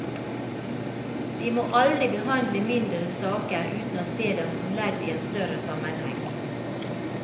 De må aldri behandle mindre saker uten å se dem som ledd i en større sammenheng.